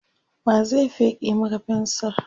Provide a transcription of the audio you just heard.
wa zai feke Maka fensir?